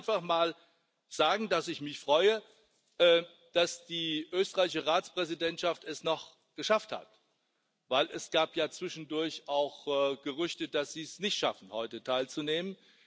Ich will einfach mal sagen, dass ich mich freue, dass die österreichische Ratspräsidentschaft es noch geschafft hat denn es gab ja zwischendurch auch Gerüchte, dass sie es nicht schaffen heute teilzunehmen.